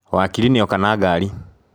Wakiri nĩ oka na ngaari.